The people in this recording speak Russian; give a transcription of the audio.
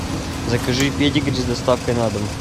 закажи педигри с доставкой на дом